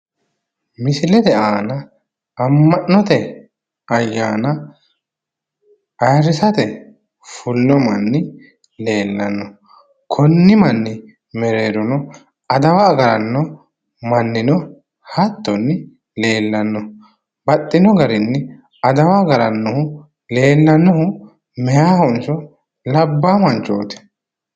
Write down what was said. Misilete aana amma'note ayyaana ayiirrisate fullo manni leellanno. konni manni mereerono adawa agaranno manni no hattono leellanno. baxxino garinni adawa agarannohu leellanohu meeyahonso labbaa manchooti?